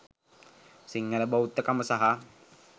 සිංහල බෞද්ධ කම සහ